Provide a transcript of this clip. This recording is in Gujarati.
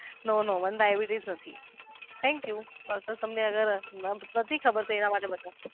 no no ડાયાબિટીસ નથી thank you doctor તમને અગર ખબર